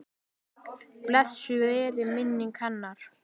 Blessuð veri minning hennar.